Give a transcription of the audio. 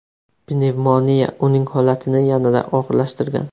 Pnevmoniya uning holatini yanada og‘irlashtirgan.